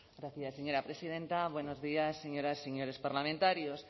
gracias señora presidenta buenos días señoras y señores parlamentarios